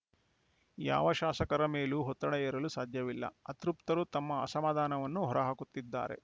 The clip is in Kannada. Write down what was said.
ಯಾವ ಶಾಸಕರ ಮೇಲೂ ಒತ್ತಡ ಹೇರಲು ಸಾಧ್ಯವಿಲ್ಲ ಅತೃಪ್ತರು ತಮ್ಮ ಅಸಮಾಧಾನವನ್ನು ಹೊರಹಾಕುತ್ತಿದ್ದಾರೆ